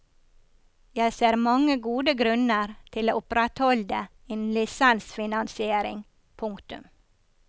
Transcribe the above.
Jeg ser mange gode grunner til å opprettholde en lisensfinansiering. punktum